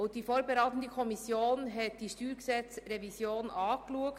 Die vorberatende Kommission hat die StG-Revision besprochen.